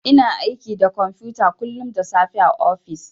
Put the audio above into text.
Ina aiki da kwamfuta kullun da safe a ofis.